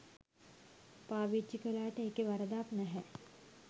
පාවිච්චි කළාට ඒකේ වරදක් නැහැ.